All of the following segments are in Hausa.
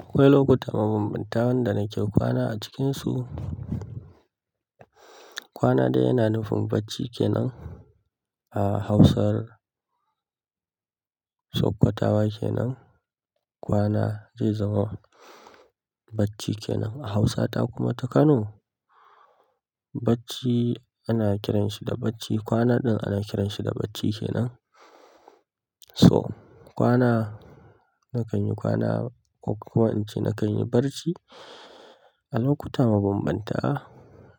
Akwai lokuta mabambanta wanda nake kwana a cikinsu. Kwana ɗaya yana nufin bacci kenan a Hausar Sokkatawa kenan kwana zai zama bacci kenan a Hausa ta kuma ta Kano bacci ana kiranshi da bacci. Kwana ɗin ana kiranshi da bacci kenan. So kwana nakan yi kwana ko kuma in ce nakan yi bacci a lokuta mabambanta.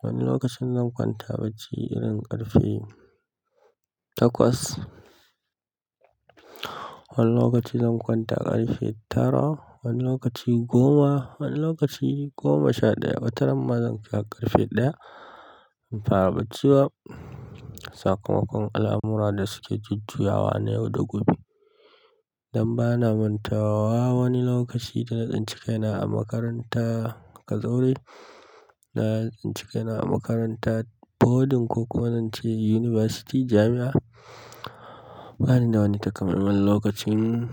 Wani lokacin zan kwanta bacci irin ƙarfe takwas, wani lokaci zan kwanta ƙarfe tara, wani lokaci goma, wani lokaci goma sha ɗaya. Watarin ma zan kira ƙarfe ɗaya in fara bacci wa. Sakamakon al'amura da suke jujjuyawa na yau da gobe. Dan bana mantawa wani lokaci da na tsince kaina a makaranta kazori, na tsince kaina a makaranta boarding ko kuma in ce yunifasti, jami'a. Bani da wani takamaiman lokacin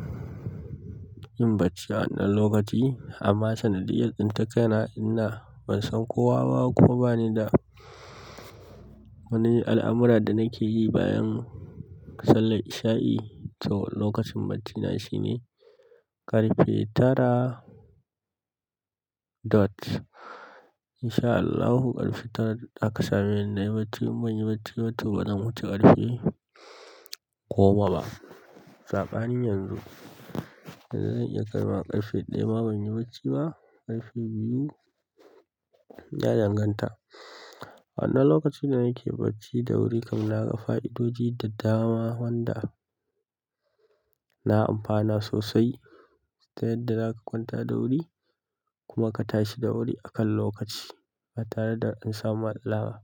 yin bacci a wannan lokaci amma sanadiyar tsince kaina ina ban san kowa ba kuma bani da wani al'amura da nake yi bayan sallar isha'i. To lokacin bacina shine ƙarfe tara dot. Insha Allahu ƙarfe tara aka same ni na yi bacci in ban yi bacci bato bazan wuce ƙarfe goma ba. Sabani yanzu, yanzu zan iya kaiwa ƙarfe ɗaya ma ban yi bacci ba, ƙarfe biyu yadan ganta. Wannan lokacin da nake bacci da wuri kam na ga fa'idoji da dama wanda na amfana sosai. Ta yadda za ka kwanta da wuri kuma ka tashi da wuri akan lokaci. Ba tare da an samu alawa.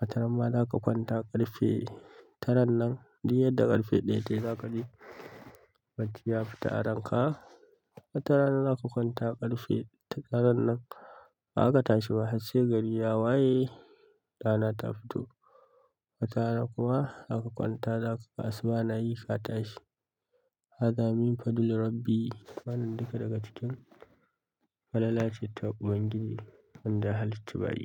Wataran ma za ka kwanta ƙarfe tara nan, duk yadda ƙarfe ɗaya ta yi za kaji bacci ya fita a ranka. Watara nan za ka kwanta ƙarfe tara nan ba za ka tashi ba har sai gari ya waye rana ta fito. Watara na kuma za ka kwanta za ka kasuwa na yi ka tashi. Haza min fadulu Rabbi yi. Wannan duka daga cikin falalace ta ubangiji wanda ya halce bayi.